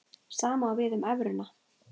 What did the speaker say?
Sama á við um evruna.